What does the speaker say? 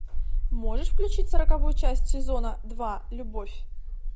можешь включить сороковую часть сезона два любовь